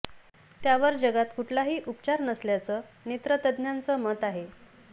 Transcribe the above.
त्यावर जगात कुठलाही उपचार नसल्याचं नेत्र तज्ज्ञांचं मत आहे